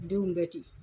Denw bɛ ten